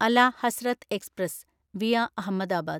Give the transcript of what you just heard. അല Hazrat express (via Ahmedabad)